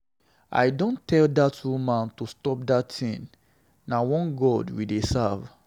I don tell dat woman to stop dat thing, na one God we dey serve.